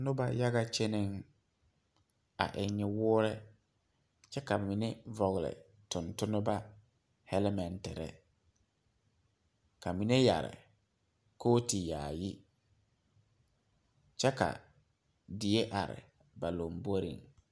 Noba yaga kyɛnee, a eŋ nyuwɔre kyɛ ka mine vɔgle tontonba helimeetere ka mine yere kooti yaayi kyɛ ka die are ba lanbore.